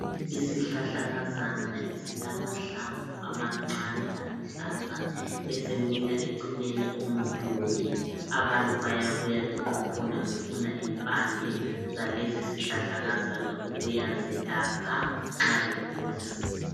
Isihlahlakazana esilamahlamvu amancane aluhlaza esimila eceleni komduli abantu bayabuya beqhuphuna befuna impande zalesi sihlahlakaza ukuyazelapha nxa begula.